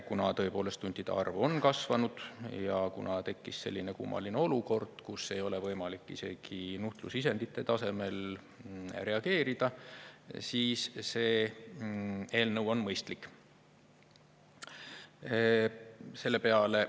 Kuna tõepoolest huntide arv on kasvanud ja kuna tekkis selline kummaline olukord, kus ei ole võimalik isegi nuhtlusisendite tasemel reageerida, siis see eelnõu on mõistlik.